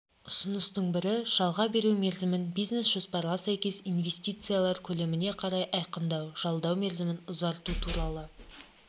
ұсыныстың бірі жалға беру мерзімін бизнес-жоспарға сәйкес инвестициялар көлеміне қарай айқындау жалдау мерзімін ұзарту туралы